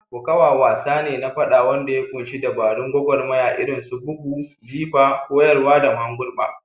Kokawa wasa ne na faɗa wanda ya ƙunshi dabarun gwagwarmaya irin su bugu, jifa, kayarwa, da mahangurba.